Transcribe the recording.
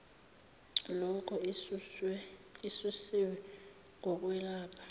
loko isusiwe ngokwelapha